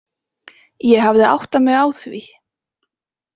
Ég hafði áttað mig á því.